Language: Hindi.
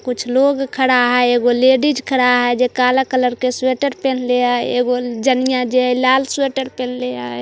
कुछ लोग खड़ा है एक वो लेडीज खड़ा है जो काला कलर के स्‍वेटर पहन लिया है एक वो जनिया जो है लाल स्‍वेटर पहन लिया है ।